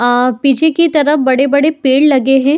आ पीछे की तरफ बड़े-बड़े पेड़ लगे हैं |